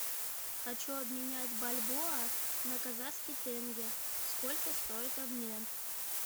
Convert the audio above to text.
хочу обменять бальбоа на казахский тенге сколько стоит обмен